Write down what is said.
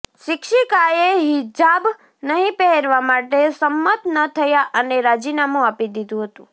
શિક્ષિકાએ હિજાબ નહીં પહેરવા માટે સંમત ન થયા અને રાજીનામું આપી દીધું હતું